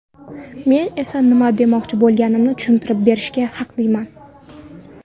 Men esa nima demoqchi bo‘lganimni tushuntirib berishga haqliman.